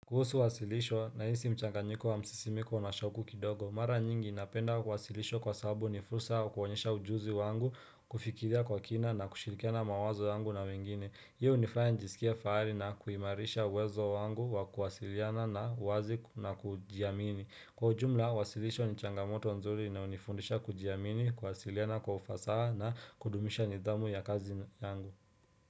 Kuhusu wasilisho nahisi mchanganyiko wa msisimiko na shoku kidogo. Mara nyingi napenda kuwasilishwa kwa sahabu ni fursa wa kuonyesha ujuzi wangu, kufikiria kwa kina na kushirikiana mawazo yangu na wengine. Hii hunifanya njisikia fahari na kuimarisha uwezo wangu wa kuwasiliana na uwazi na kujiamini. Kwa ujumla, wasilisho ni changamoto nzuri inayonifundisha kujiamini, kuwasiliana kwa ufasaha na kudumisha nidhamu ya kazi yangu.